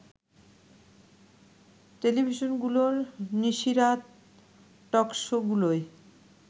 টেলিভিশনগুলোর নিশিরাত টকশোগুলোয়